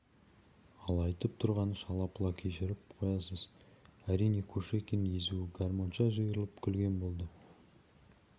ал айтып тұрғаны шала-пұла кешіріп қоясыз әрине кушекин езуі гармонша жиырылып күлген болды